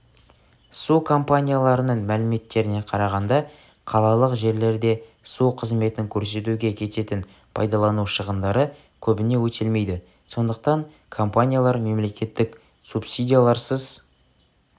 су компанияларының мәліметтеріне қарағанда қалалық жерлерде су қызметін көрсетуге кететін пайдалану шығындары көбіне өтелмейді сондықтан компаниялар мемлекеттік субсидияларсыз